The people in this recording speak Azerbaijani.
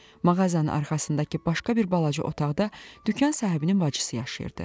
Mağazanın arxasındakı başqa bir balaca otaqda dükan sahibinin bacısı yaşayırdı.